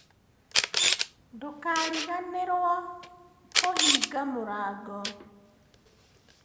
Ndũkariganĩrũo kũhinga mũrango.